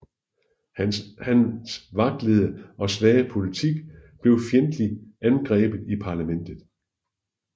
Hans vaklende og svage politik blev fjendtlig angrebet i parlamentet